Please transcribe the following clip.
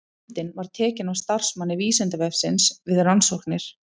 Myndin var tekin af starfsmanni Vísindavefsins við rannsóknir.